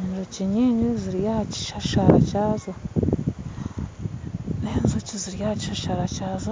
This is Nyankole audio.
enjoki nyingi ziri aha kishashara kyazo.